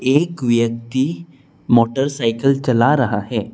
एक व्यक्ति मोटरसाइकल चला रहा है।